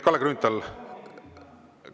Kalle Grünthal!